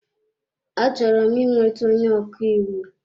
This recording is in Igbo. Achọrọ m ị nweta onye ọkaiwu.